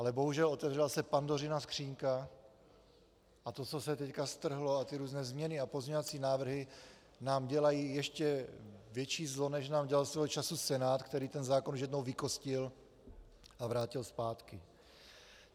Ale bohužel otevřela se Pandořina skříňka a to, co se teď strhlo, a ty různé změny a pozměňovací návrhy nám dělají ještě větší zlo, než nám dělal svého času Senát, který ten zákon už jednou vykostil a vrátil zpátky.